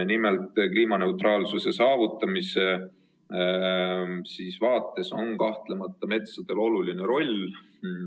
Nimelt, kliimaneutraalsuse saavutamise vaates on metsal kahtlemata oluline roll.